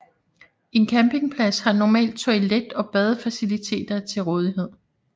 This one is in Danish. En campingplads har normalt toilet og badefaciliteter til rådighed